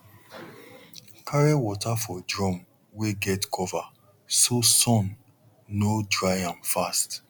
carry water for drum wey get cover so sun no dry am fast